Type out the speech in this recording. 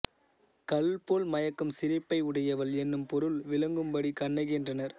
கள் போல் மயக்கும் சிரிப்பை உடையவள் என்னும் பொருள் விளங்கும்படி கண்ணகி என்றனர்